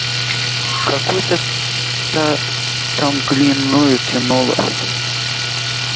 какой-то там глиною тянуло